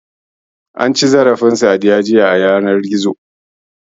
An ci zarafin Sadiya a yanar gizo, jiya.